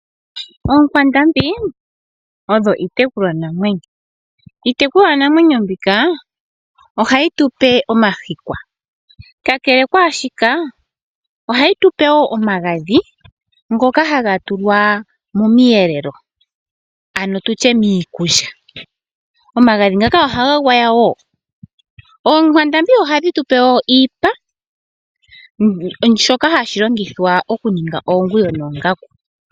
Oonkwandambi odho iitekulwa namwenyo. Iitekulwa namwenyo mbika ohayi tupe omahikwa. Kakele kwashika ohayi tupe woo omagadhi ngoka haga tulwa momiyelelo ano tutye miikulya. Omagadhi ngaka ohaga gwawa woo . Oonkwandambi ohadhi tupe woo oshipa shoka hashi longithwa okuninga oonguwo noongaku.